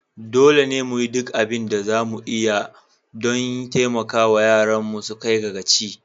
Dole ne mu yi duk abin da za mu iya don taimaka wa yaranmu su kai ga gaci.